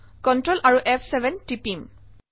control আৰু ফ7 টিপিম